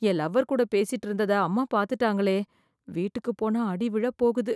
என் lover கூட பேசிட்டு இருந்ததை அம்மா பார்த்துட்டாங்களே, வீட்டுக்கு போனா அடி விழுக போகுது.